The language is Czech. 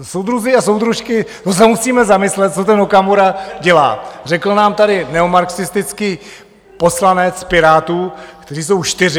Soudruzi a soudružky, to se musíme zamyslet, co ten Okamura dělá, řekl nám tady neomarxistický poslanec Pirátů, kteří jsou čtyři.